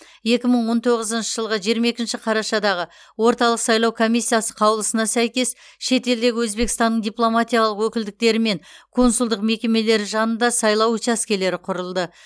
екі мың он тоғызыншы жылғы жиырма екінші қарашадағы орталық сайлау комиссиясы қаулысына сәйкес шетелдегі өзбекстанның дипломатиялық өкілдіктері мен консулдық мекемелері жанында сайлау учаскелері құрылды